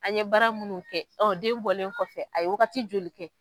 An ye bara munnu kɛ, ɔ den bɔlen kɔfɛ a ye waagati joli kɛ.